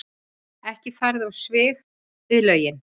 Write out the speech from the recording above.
Ekki farið á svig við lögin